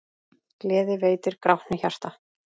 Gleði veitir grátnu hjarta.